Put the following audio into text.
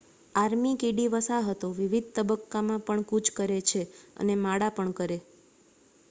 army કીડી વસાહતો વિવિધ તબક્કામાં પણ કૂચ કરે છે અને માળા પણ કરે